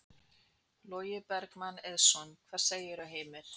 Logi Bergmann Eiðsson: Hvað segirðu, Heimir?